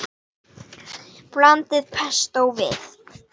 Blandið pestó við.